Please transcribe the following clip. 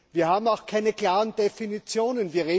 Wir haben auch keine klaren Definitionen.